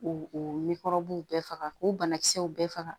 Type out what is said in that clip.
K'o o w bɛɛ faga k'o banakisɛw bɛɛ faga